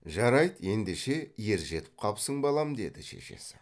жарайды ендеше ержетіп қапсың балам деді шешесі